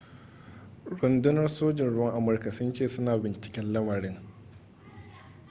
rundunar sojin ruwan amurka sun ce suna binciken lamarin